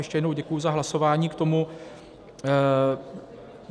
Ještě jednou děkuji za hlasování k tomu.